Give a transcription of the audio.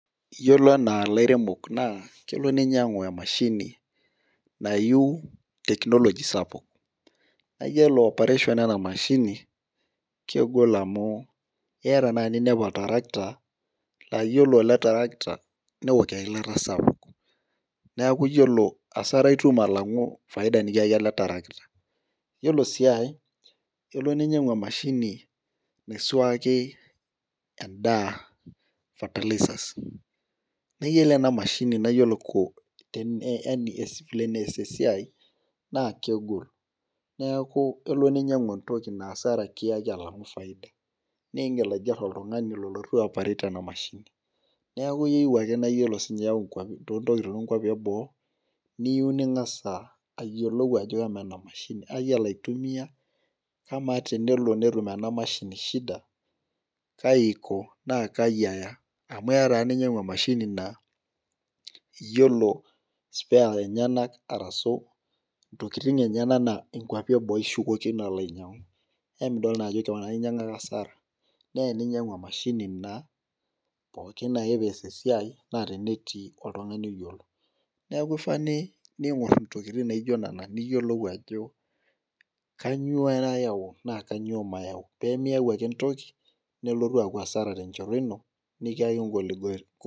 iyiolo enaa ilairemok naa kele ninyiang'u emashini nayieu tekinoloji sapuk iyiolo operation enamashini kegol amu keya naaji ninepu oltarakita naa iyiolo eletarakita naa keyieu eilata sapuk , neeku iyiolo asara itum alang nitum faida sapuk oltarakita , iyiolo sii ae naakelo ninyang'u emashini naisuaki edaa fertilizer naa iyolo enamashini tene ees esiai naa kegol, neeku kelo ninyang'u entoki naa asara kiya alang'u faida neeku igil aiger oltung'ani olotu ayaporet enaduo mashini neeku iyieu ake naa ore sininye too ntokitin oonkuapi eboo , niyieu ning'as ayiolou ajo amaa enamashini iyiolo aitumiya amaa tenelo netum enamashini shida kaji aiko naa kaji aya amu keya taa ninyang'u emashinaa iyiolo spare lenyanak arasu intokitin enyanak naa inkuapi eboo ishukokino alo anyang'u paa emidol naa ajo koon ake iya asara neya ninyang'u emashini naa pooki ake netii oltung'ani oyiolo neeku kifaa niyiolou ajo kainyoo ayau naa kanyioo mayau.